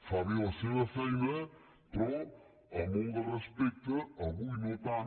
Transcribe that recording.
fa bé la seva feina però amb molt de respecte avui no tant